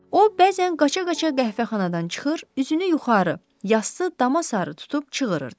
O bəzən qaça-qaça qəhvəxanadan çıxır, üzünü yuxarı yassı dama sarı tutub çığırırdı.